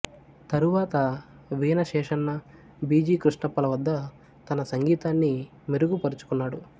తరువాత Veena Sheshanna G B కృష్ణప్పల వద్ద తన సంగీతాన్ని మెరుగు పరుచుకున్నాడు